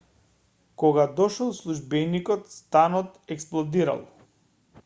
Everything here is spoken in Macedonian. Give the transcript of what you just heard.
кога дошол службеникот станот експлодирал